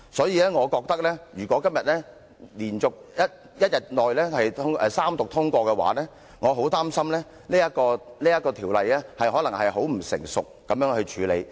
因此，我覺得如果今天一天之內三讀通過《條例草案》，我很擔心《條例草案》可能被很不成熟地處理。